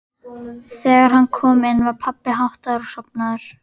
Þegar hann kom inn var pabbi háttaður og sofnaður.